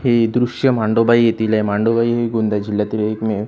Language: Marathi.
हे दृश्य मांडोबा येथील आहे मांडोबा हे गोंदिया जिल्ह्यातील एकमेव --